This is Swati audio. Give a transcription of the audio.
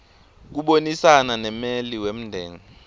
kubonisana nemmeli wemndeni